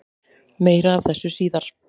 Meira af þessu síðar.